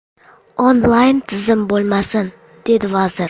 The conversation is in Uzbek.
Onlayn tizim bo‘lmasin”, dedi vazir.